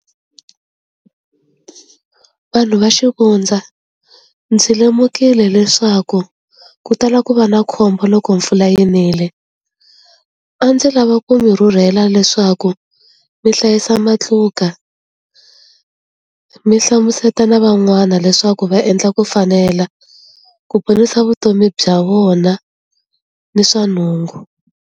Vanhu va xivundza ndzi lemukile leswaku ku tala ku va na khombo loko mpfula yi nile a ndzi lava ku mi rhurhela leswaku ku mi hlayisa matluka mi hlamuseta na van'wana leswaku va endla ku fanela ku ponisa vutomi bya vona ni swa nhungu.